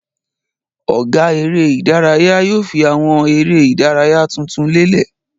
Ọ̀gá eré-idárayá yóò fi àwọn eré-idárayá tuntun lélẹ̀.